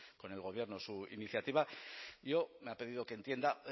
con el gobierno su iniciativa yo me ha pedido que entienda